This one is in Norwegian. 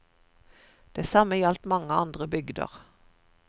Det samme gjaldt mange andre bygder.